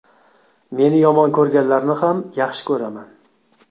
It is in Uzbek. Meni yomon ko‘rganlarni ham yaxshi ko‘raman.